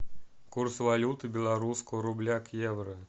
курс валюты белорусского рубля к евро